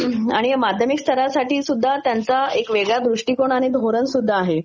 माध्यमिक स्तरासाठी सुध्दा त्याच्यामध्ये एक वेगळा दृष्टीकोन आणि not clear आहे